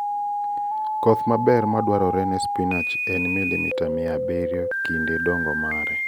Koth maber madwarore ne spinach en milimita mia abiriyo kinde dongo mare.